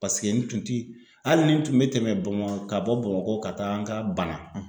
Paseke n tun ti hali ni n tun bɛ tɛmɛ bama ka bɔ Bamakɔ ka taa n ka Bana.